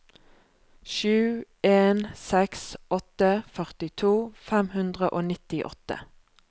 sju en seks åtte førtito fem hundre og nittiåtte